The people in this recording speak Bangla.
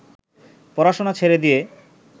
পড়াশোনা ছেড়ে দিয়ে